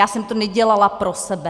Já jsem to nedělala pro sebe.